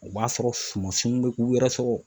O b'a sɔrɔ sumansunw bɛ k'u yɛrɛ sɔrɔ